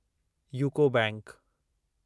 UCO bank